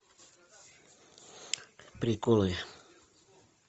приколы